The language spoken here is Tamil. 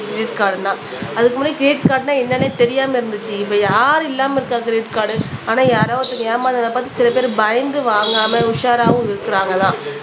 கிரெடிட் கார்டும்தான் அதுக்கு முன்னாடி கிரெடிட் கார்டுன்னா என்னன்னே தெரியாம இருந்துச்சு இப்ப யாரு இல்லாம இருக்கா கிரெடிட் கார்டு ஆனா யாரோ ஒருத்தங்க ஏமாந்ததை பார்த்து சில பேர் பயந்து வாங்காம உஷாராவும் இருக்கிறாங்க தான்